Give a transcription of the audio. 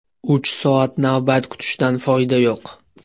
Uch soat navbat kutishdan foyda yo‘q.